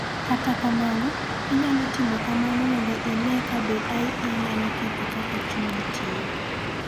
Kata kamano, inyalo timo kamano mondo ine ka be IE nyalo ketho kaka chunyi tiyo.